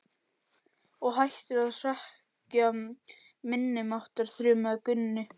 Og hættir að hrekkja minni máttar, þrumaði Gunni.